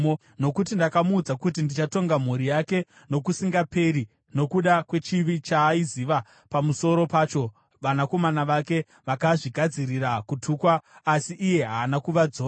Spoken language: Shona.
Nokuti ndakamuudza kuti ndichatonga mhuri yake nokusingaperi nokuda kwechivi chaaiziva pamusoro pacho, vanakomana vake vakazvigadzirira kutukwa asi iye haana kuvadzora.